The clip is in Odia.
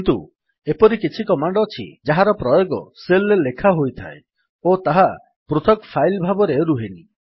କିନ୍ତୁ ଏପରି କିଛି କମାଣ୍ଡ ଅଛି ଯାହାର ପ୍ରୟୋଗ ଶେଲ୍ ରେ ଲେଖା ହୋଇଥାଏ ଓ ତାହା ପୃଥକ୍ ଫାଇଲ୍ ଭାବରେ ରୁହେନି